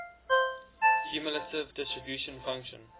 cumulative distribution function